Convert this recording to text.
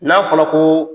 N'a fɔra ko